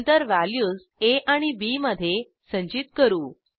नंतर व्हॅल्यूज आ आणि बी मधे संचित करू